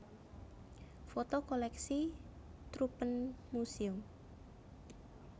Foto koleksi Troopenmuséum